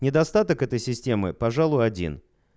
недостаток этой системы пожалуй один